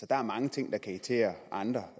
der er mange ting der kan irritere andre